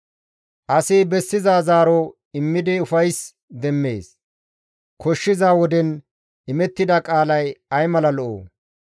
Asi bessiza zaaro immidi ufays demmees; koshshiza woden imettida qaalay ay mala lo7oo!